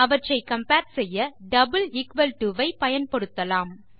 அவற்றை கம்பேர் செய்ய double equal to ஐ பயன்படுத்தலாம்